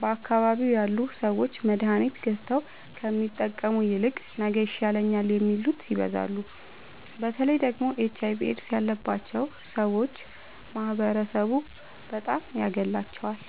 በአካባቢዉ ያሉ ሠዎች መድሀኒት ገዝተዉ ከሚጠቀሙ ይልቅ ነገ ይሻለኛል የሚሉት ይበዛሉ። በተለይ ደግሞ ኤች አይቪ ኤድስ ያባቸዉ ሠዎች ማህበረሡ በጣም ያገላቸዋል።